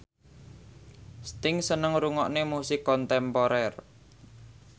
Sting seneng ngrungokne musik kontemporer